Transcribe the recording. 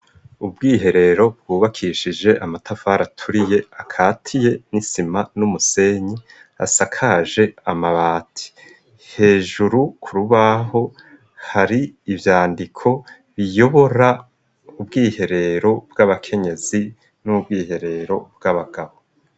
Ubwiherero bwubakishije amatafari aturiye akatiye n'isima n'umusenyi asakaje amabati hejuru kurubaho hari ivyandiko biyobora ubwiherero bw'abakenyezi n'ubwiherero bw'abagabo.